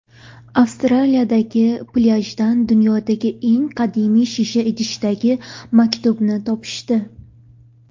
Avstraliyadagi plyajdan dunyodagi eng qadimiy shisha idishdagi maktubni topishdi.